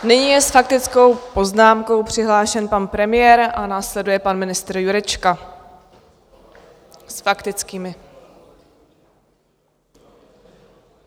Nyní je s faktickou poznámkou přihlášen pan premiér a následuje pan ministr Jurečka - s faktickými.